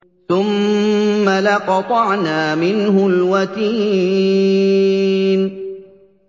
ثُمَّ لَقَطَعْنَا مِنْهُ الْوَتِينَ